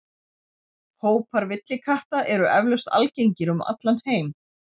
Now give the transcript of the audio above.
Hópar villikatta eru eflaust algengir um allan heim.